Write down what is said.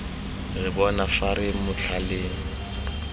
re bona fa re motlhaleng